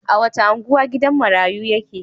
A wace unguwa gidan marayu yake?